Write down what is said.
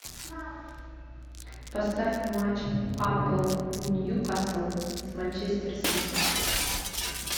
поставь матч апл ньюкасл с манчестер сити